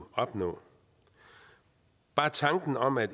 opnå bare tanken om at